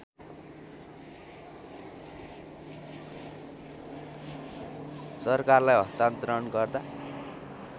सरकारलाई हस्तान्तरण गर्दा